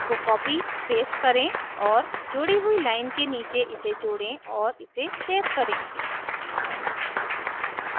उसको copy paste करें और जोड़ी हुई लाइन के नीचे इसे जोड़ें और इसे सेव करें